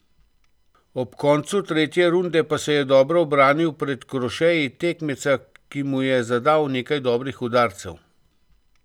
Ob koncu tretje runde se je dobro ubranil pred krošeji tekmeca, ki mu je zadal nekaj dobrih udarcev.